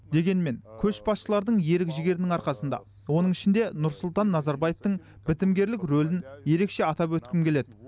дегенмен көшбасшылардың ерік жігерінің арқасында оның ішінде нұрсұлтан назарбаевтың бітімгерлік рөлін ерекше атап өткім келеді